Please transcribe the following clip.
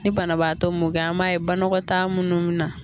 Ni banabaatɔ mɔ kɛ, an b'a ye banɔgɔtaa munnu mun na.